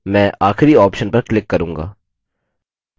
मैं आखिरी option पर click करूँगा